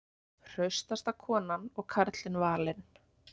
Hraustasta konan og karlinn valin